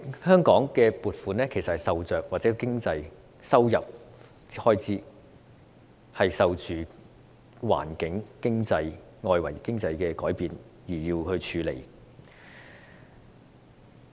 香港政府的收入和開支受着環境及內外經濟的改變影響，須因應調整。